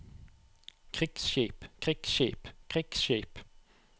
krigsskip krigsskip krigsskip